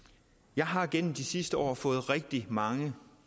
jeg har gennem de sidste år fået rigtig mange